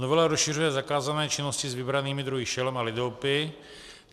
Novela rozšiřuje zakázané činnosti s vybranými druhy šelem a lidoopy.